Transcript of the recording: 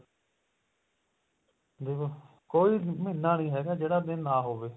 ਦੇਖੋ ਕੋਈ ਮਹੀਨਾ ਨੀ ਹੈਗਾ ਜਿਹੜਾ ਦਿਨ ਨਾ ਹੋਵੇ